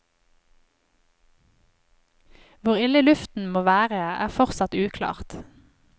Hvor ille luften må være er fortsatt uklart.